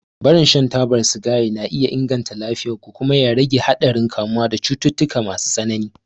Barin shan taba sigari na iya inganta lafiyar ku kuma ya rage haɗarin kamuwa da cututtuka masu tsanani.